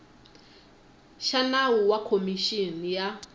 xa nawu wa khomixini ya